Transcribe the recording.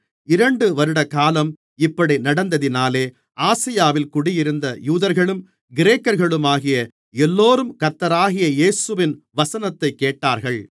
இரண்டு வருடகாலம் இப்படி நடந்ததினாலே ஆசியாவில் குடியிருந்த யூதர்களும் கிரேக்கர்களுமாகிய எல்லோரும் கர்த்தராகிய இயேசுவின் வசனத்தைக் கேட்டார்கள்